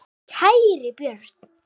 Kæri Björn.